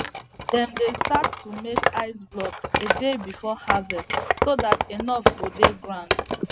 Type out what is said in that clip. dem dey start to make ice block a day before harvest so dat enough go dey ground